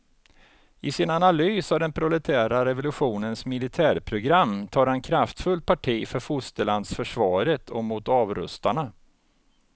I sin analys av den proletära revolutionens militärprogram tar han kraftfullt parti för fosterlandsförsvaret och mot avrustarna.